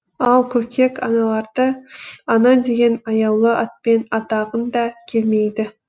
ал көкек аналарды ана деген аяулы атпен атағың да келмейді